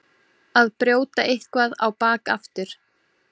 Að brjóta eitthvað á bak aftur